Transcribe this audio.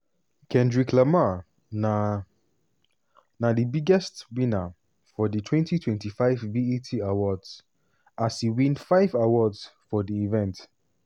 kendrick lamar na na di biggest winner for di 2025 bet awards as e win five awards for di event.